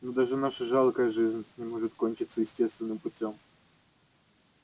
но даже наша жалкая жизнь не может кончиться естественным путём